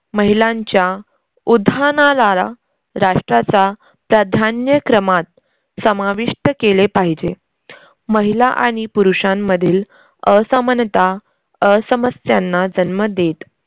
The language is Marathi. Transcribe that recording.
महिलांच्या उधानादारा राष्ट्राचा प्राधान्यक्रमात समाविष्ट केले पाहिजे. महिला आणि पुरुषांमधील असमनता अ समस्यांना जन्म देत